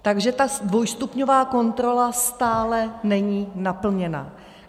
Takže ta dvojstupňová kontrola stále není naplněna.